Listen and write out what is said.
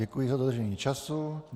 Děkuji za dodržení času.